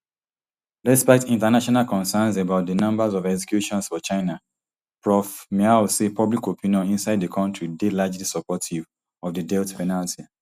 despite international concerns about di numbers of executions for china prof miao say public opinion inside di kontri dey largely supportive of di death penalty